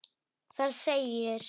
Þar segir